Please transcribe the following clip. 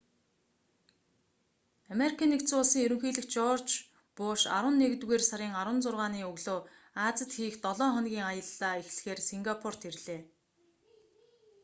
ану-ын ерөнхийлөгч жорж у.буш арваннэгдүгээр сарын 16-ны өглөө азид хийх долоо хоногийн аяллаа эхлэхээр сингапурт ирлээ